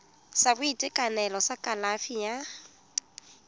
sa boitekanelo sa kalafi ya